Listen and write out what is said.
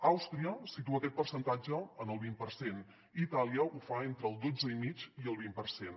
àustria situa aquest percentatge en el vint per cent i itàlia ho fa entre el dotze i mig i el vint per cent